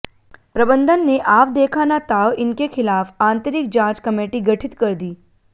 प्रबंधन ने आव देखा ना ताव इनके खिलाफ आंतरिक जांच कमेटी गठित कर दी